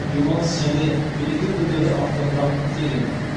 демалыс және мереке күндері автотұрақ тегін